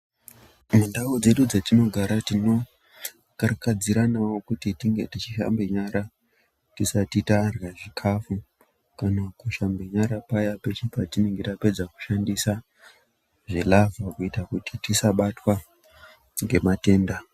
Mundau dzedu dzatinogara tinokarakadziranawo kuti tinge tichishambe nyara tisati tarya zvikafu kana kushamba nyara paya patinenge tapedza kushandisa zvilavha kuita kuti tisabatwa ngematenda.